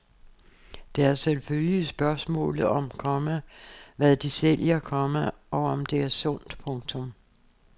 Der er selvfølgelig spørgsmålet om, komma hvad de sælger, komma og om det er sundt. punktum